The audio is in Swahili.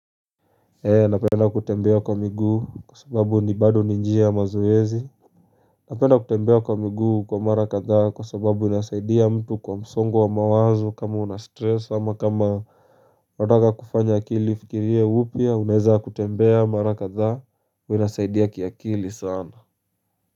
Ee napenda kutembea kwa miguu kwa sababu ni bado ni njia ya mazoezi Napenda kutembea kwa miguu kwa mara kadhaa kwa sababu inasaidia mtu kwa msongo wa mawazo kama una stress ama kama unataka kufanya akili ifikirie upya, unaeza kutembea mara kadhaa unasaidia kiakili sana.